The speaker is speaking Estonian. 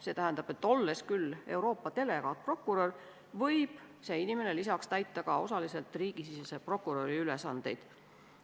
See tähendab, et olles küll Euroopa delegaatprokurör, võib see inimene lisaks osaliselt täita riigisisese prokuröri ülesandeid.